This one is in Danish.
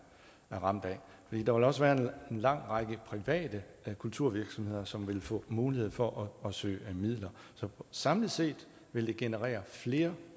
ramt af der vil også være en lang række private kulturvirksomheder som vil få mulighed for at søge midler så samlet set vil det generere flere